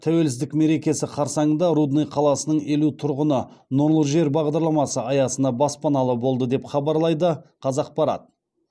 тәуелсіздік мерекесі қарсаңында рудный қаласының елу тұрғыны нұрлы жер бағдарламасы аясына баспаналы болды деп хабарлайды қазақпарат